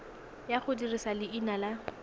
ya go dirisa leina la